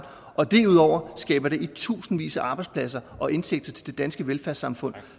og derudover skaber det i tusindvis af arbejdspladser og indtægter til det danske velfærdssamfund